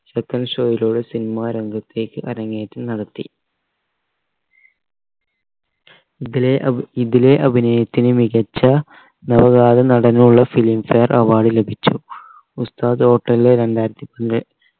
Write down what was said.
second show യിലൂടെ cinema രംഗത്തേക്ക് അരങ്ങേറ്റം നടത്തി ഇതിലെ അഭ് ഇതിലെ അഭിനയത്തിന് മികച്ച നവാഗത നടനുള്ള film fare award ലഭിച്ചു ഉസ്താദ് hotel ലെ രണ്ടായിരത്തി